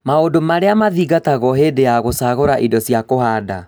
Maũndũ maria mathingatagwo hĩndĩ ya gũcagũra indo cia kũhanda